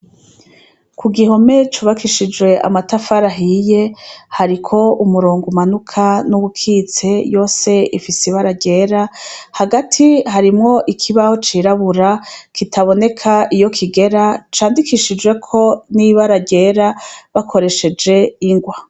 Ku gihome cubakishijwe amatafari ahiye, hariko umurongo umanuka n'uwukitse, yose ifise ibara ryera, hagati harimwo ikibaho cirabura, kitaboneka iyo kigera, candikishijweko n'ibara ryera, bakoresheje ingwa.